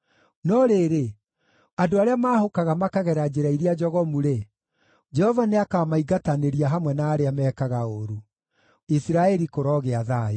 No rĩrĩ, andũ arĩa maahũkaga makagera njĩra iria njogomu-rĩ, Jehova nĩakamaingatanĩria hamwe na arĩa mekaga ũũru. Isiraeli kũrogĩa thayũ.